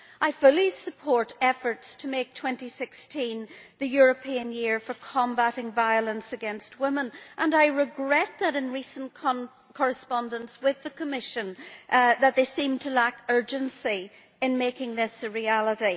I fully support efforts to make 2016 the European Year for Combating Violence against Women, and I regret that in recent correspondence with the Commission it has seemed to lack urgency in making this a reality.